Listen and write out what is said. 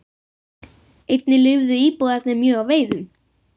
Einnig lifðu íbúarnir mjög á veiðum.